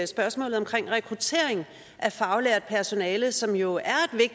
spørgsmålet om rekruttering af faglært personale som jo er